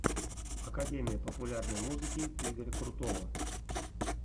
академия популярной музыки игоря крутого